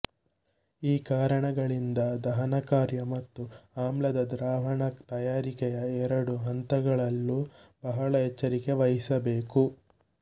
ಈ ಕಾರಣಗಳಿಂದ ದಹನಕಾರ್ಯ ಮತ್ತು ಆಮ್ಲದ ದ್ರಾವಣ ತಯಾರಿಕೆಯ ಎರಡು ಹಂತಗಳಲ್ಲೂ ಬಹಳ ಎಚ್ಚರಿಕೆ ವಹಿಸಬೇಕು